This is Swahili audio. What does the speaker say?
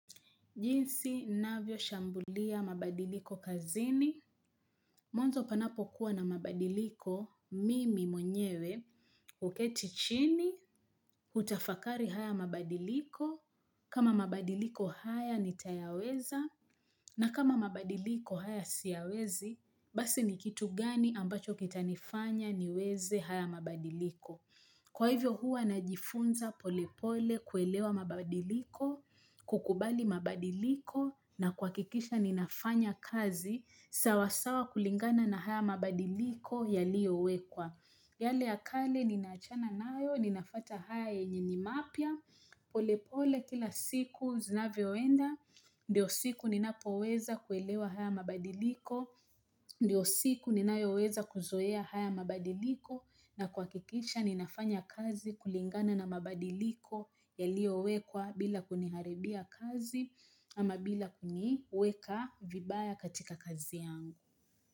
Jinsi, navyo shambulia mabadiliko kazini. Mwanzo panapo kuwa na mabadiliko, mimi mwenyewe, uketichini, hutafakari haya mabadiliko, kama mabadiliko haya nitayaweza, na kama mabadiliko haya siawezi, basi nikitugani ambacho kitanifanya niweze haya mabadiliko. Kwa hivyo hua najifunza polepole kuelewa mabadiliko, kukubali mabadiliko na kwakikisha ninafanya kazi sawasawa kulingana na haya mabadiliko yalio wekwa. Yale ya kale ninaachana nayo, ninafuata haya yenye ni mapia, pole pole kila siku zinavyoenda, ndio siku ninapo weza kuelewa haya mabadiliko, ndio siku ninayo weza kuzoea haya mabadiliko na kwa kikisha ninafanya kazi kulingana na mabadiliko yalio wekwa bila kuniharibia kazi ama bila kuniweka vibaya katika kazi yangu.